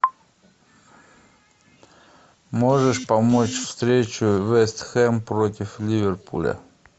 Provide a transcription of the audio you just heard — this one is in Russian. можешь помочь встречу вест хэм против ливерпуля